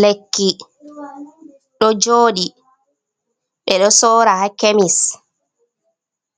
Lekki, ɗo jooɗi, ɓe ɗo soora ha kemis,